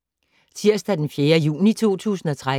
Tirsdag d. 4. juni 2013